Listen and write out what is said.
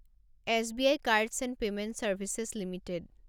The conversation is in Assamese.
SBI cards and payment services limited